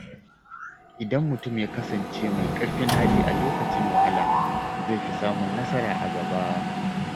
Idan mutum ya kasance mai ƙarfin hali a lokacin wahala, zai fi samun nasara a gaba.